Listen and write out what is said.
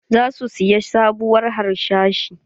Za su siya sabuwar harsashi.